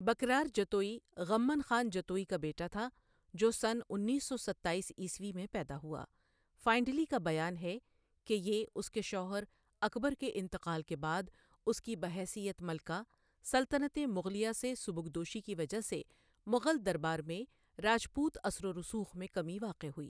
بکرار جتوئی غمن خان جتوئی کا بیٹا تھا جو سن انیس سو ستائیس عیسوی میں پیدا ہوا فائنڈلی کا بیان ہے کہ یہ اس کے شوہر اکبر کے انتقال کے بعد اس کی بحیثیت ملکہ سلطنت مغلیہ سے سبکدوشی کی وجہ سے مغل دربار میں راجپوت اثر و رسوخ میں کمی واقع ہوئی۔